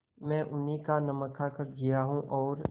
मैं उन्हीं का नमक खाकर जिया हूँ और